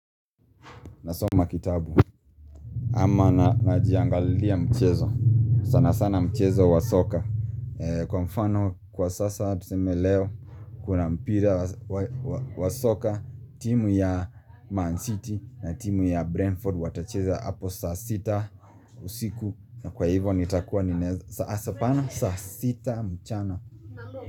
Nasoma kitabu ama najiangalilia mchezo sana sana mchezo wa soka Kwa mfano kwa sasa tuseme leo kuna mpira wa soka timu ya Man City na timu ya Brentford watacheza hapo saa sita usiku na kwa hivyo nitakuwa saa hapana saa sita mchana.